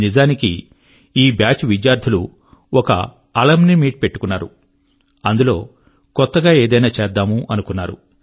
నిజానికి ఈ బాచ్ విద్యార్థులు ఒక అలుమ్ని మీట్ పెట్టుకున్నారు అందులో కొత్తగా ఏదైనా చేద్దామనుకున్నారు